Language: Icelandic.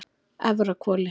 Efrahvoli